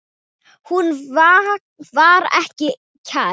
Hún var þér kær.